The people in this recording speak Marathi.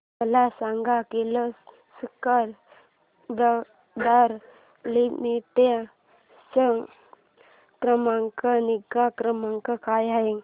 मला सांग किर्लोस्कर ब्रदर लिमिटेड चा ग्राहक निगा क्रमांक काय आहे